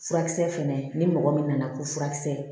Furakisɛ fɛnɛ ni mɔgɔ min nana ko furakisɛ